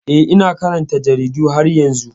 Eh, ina karanta jaridu har yanzu.